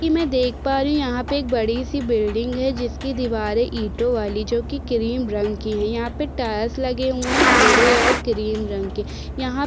कि मैं देख पा रही हूँ यहाँ पे एक बड़ी सी बिल्डिंग है जिसकी दीवारें ईटों वाली जो कि क्रीम रंग की है यहाँ पे टाइल्स लगे हुए हैं भूरे और क्रीम रंग के यहाँ --